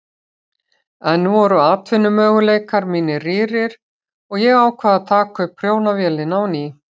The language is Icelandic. Enn voru atvinnumöguleikar mínir rýrir og ég ákvað að taka upp prjónavélina á ný.